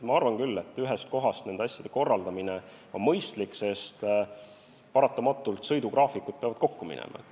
Ma arvan küll, et on mõistlik korraldada neid asju ühest kohast, sest paratamatult sõidugraafikud peavad kokku minema.